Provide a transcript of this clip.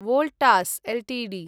Voltas Ltd